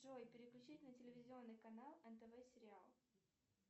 джой переключить на телевизионный канал нтв сериал